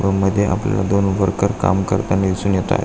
व मध्ये आपल्याला दोन वर्कर काम करताना दिसून येताय.